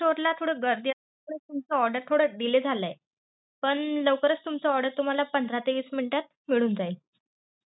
त्या store ला थोडी गर्दी असल्यामुळे, तुमचा order थोडा delay झालाय. पण लवकरच तुमचा order तुम्हाला पंधरा ते वीस minute त मिळून जाईल.